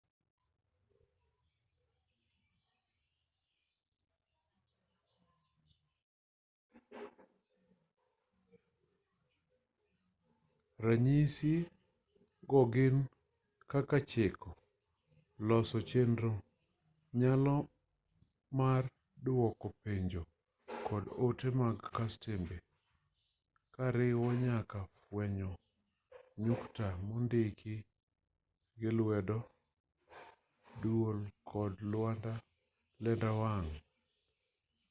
ranyisi go gin kaka chiko loso chenro nyalo mar duoko penjo kod ote mag kastembe koriwo nyaka fwenyo nyukta mondiki gi lwedo dwol kod lenda wang'